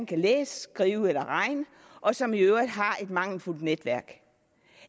kan læse skrive eller regne og som i øvrigt har et mangelfuldt netværk